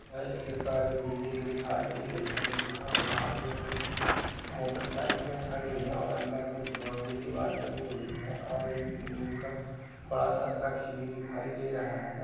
यह एक सरकारी बिल्डिंग दिखाई दे रही है जहाँ बाहर में कुछ मोटरसाइकिलें खड़ी हैं और अंदर कुछ बाउंड्री दीवार बनी हुई है और एक नीम का बड़ा सा ब्रछ भी दिखाई दे रहा है।